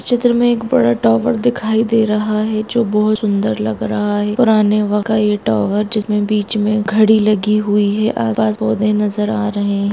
इस चित्र मे एक बड़ा टावर दिखाई दे रहा है जो बोहोत सुंदर लग रहा है पुराने बक्त का ये टावर जिसके बीच मे घड़ी लागी हुई है आस पास मे पौधे नजर आ रहे है।